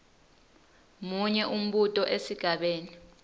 munye umbuto esigabeni